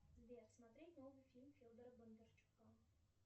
сбер смотреть новый фильм федора бондарчука